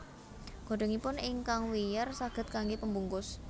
Godhongipun ingkang wiyar saged kanggé pembungkus